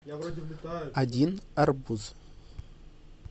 один арбуз